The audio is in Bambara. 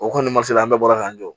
O kɔni ma se an bɛɛ bɔra k'an jɔ